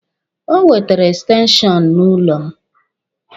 O wetere ekstenshọnụ n'ụlọ m.